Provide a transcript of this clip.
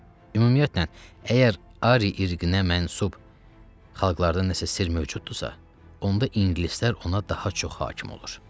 Ümumiyyətlə, əgər Ari irqinə mənsub xalqlardan nəsə sirr mövcuddursa, onda ingilislər ona daha çox hakim olur.